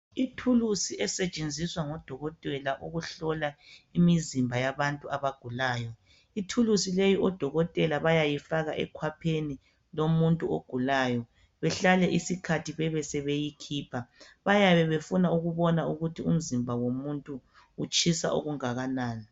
Ithulusi esetshenziswa ngodokotela ukuhlola imizimba yabantu abagulayo, ithulusi leyi odokotela bayayifaka ekhwapheni lomuntu ogulayo behlale isikhathi bebesebeyikhipha. Bayabe befuna ukubona ukuthi umzimba womuntu utshisa okunganani.